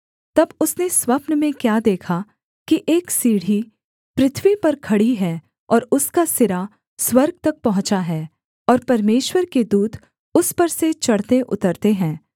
तब उसने स्वप्न में क्या देखा कि एक सीढ़ी पृथ्वी पर खड़ी है और उसका सिरा स्वर्ग तक पहुँचा है और परमेश्वर के दूत उस पर से चढ़तेउतरते हैं